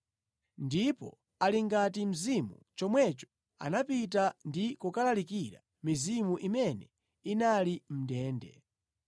Ndipo ali ngati mzimu chomwecho anapita ndi kukalalikira mizimu imene inali mʼndende,